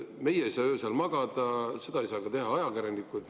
Meie ei saa öösel magada, seda ei saa teha ka ajakirjanikud.